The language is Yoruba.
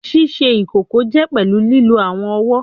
Ṣiṣe ikoko jẹ pẹlu lilo awọn ọwọ